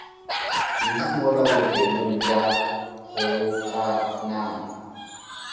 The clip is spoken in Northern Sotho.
kudu mola bookelong bja kgobokanang